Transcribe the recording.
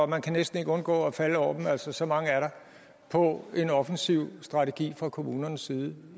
man kan næsten ikke undgå at falde over dem så så mange er der på en offensiv strategi fra kommunernes side